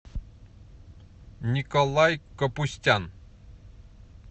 николай капустян